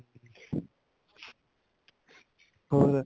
ਹੋਰ